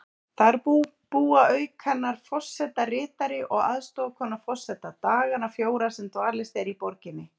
Þar búa auk hennar forsetaritari og aðstoðarkona forseta dagana fjóra sem dvalist er í borginni.